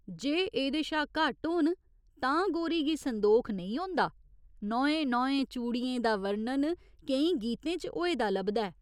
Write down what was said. जे एह्दे शा घट्ट होन तां गोरी गी संदोख नेईं होंदा, नौएं नौएं चूड़ियें दा वर्णन केईं गीतें च होए दा लभदा ऐ।